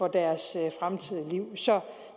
deres fremtidige liv så